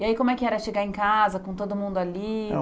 E aí como é que era chegar em casa, com todo mundo ali?